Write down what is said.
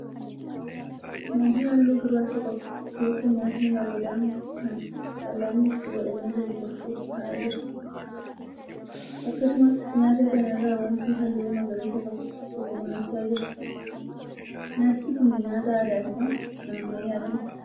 Meeshaa halluu gurraacha qabu keessa nyaatni bareedaan kan fal'aanni itti godhamee jiru tokko ta'aa jira. Akkasumas nyaata kana irra waanti halluu magariisaa qabu tokko mul'achaa jira. Nyaatni kun nyaata aadaa ti moo kan ammayyaati?